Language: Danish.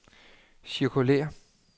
cirkulér